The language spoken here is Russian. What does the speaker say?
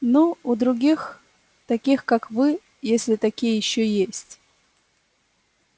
ну у других таких как вы если такие ещё есть